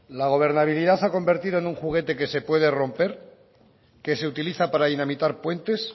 la gobernabilidad se ha convertido en un juguete que se puede romper que se utiliza para dinamitar puentes